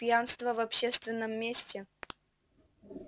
пьянство в общественном месте